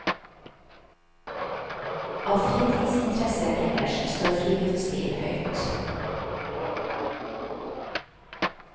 Av fritidsinteresser ellers står friluftsliv høyt.